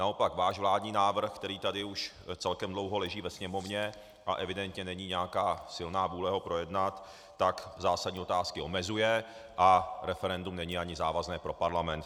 Naopak váš vládní návrh, který tady už celkem dlouho leží ve Sněmovně, a evidentně není nějaká silná vůle ho projednat, tak zásadní otázky omezuje a referendum není ani závazné pro parlament.